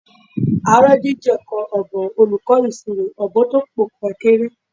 À ń rọ́jú jẹ̀kọ ọ̀bùn olùkọ́ ìṣirò, ọ̀bùn tún ń pọ́nkọ rẹ̀ kéré